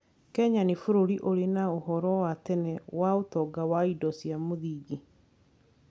Kenya nĩ bũrũri ũrĩ na ũhoro wa tene wa ũtonga wa indo cia mũthingi.